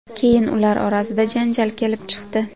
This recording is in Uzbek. Keyin ular orasida janjal kelib chiqdi.